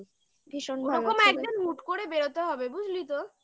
ভীষণ ভালো ওরকম একদম mood করে বেরোতে হবে বুঝলি তো